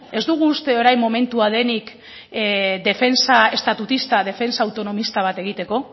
ez dugu uste orain momentu denik defentsa estatutista defentsa autonomista bat egiteko